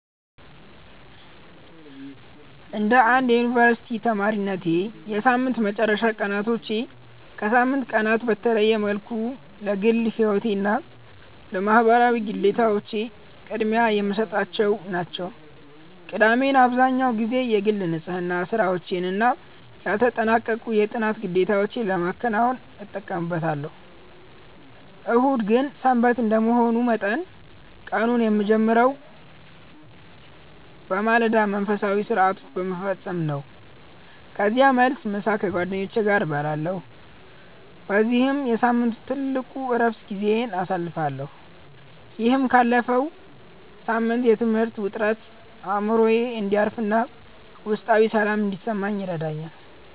እንደ አንድ የዩኒቨርሲቲ ተማሪነቴ፣ የሳምንት መጨረሻ ቀናቶቼ ከሳምንቱ ቀናት በተለየ መልኩ ለግል ሕይወቴና ለማኅበራዊ ግዴታዎቼ ቅድሚያ የምሰጥባቸው ናቸው። ቅዳሜን አብዛህኛውን ጊዜ የግል ንጽሕና ሥራዎችና ያልተጠናቀቁ የጥናት ግዴታዎቼን ለማከናወን እጠቀምበታለሁ። እሁድ ግን "ሰንበት" እንደመሆኑ መጠን፣ ቀኑን የምጀምረው በማለዳ መንፈሳዊ ሥርዓቶችን በመፈጸም ነው። ከዚያም መልስ፣ ምሳ ከጓደኞቼ ጋር እበላለሁ በዚህም የሳምንቱ ትልቁ የዕረፍት ጊዜዬን አሳልፋለሁ። ይህም ካለፈው ሳምንት የትምህርት ውጥረት አእምሮዬ እንዲያርፍና ውስጣዊ ሰላም እንዲሰማኝ ይረዳኛል።